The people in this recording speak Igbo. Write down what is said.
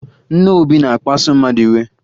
Nne Obi na-akpaso mmadụ iwe